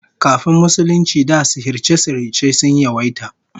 Kafin Musulunci da sihirce-sihirce sun yawaita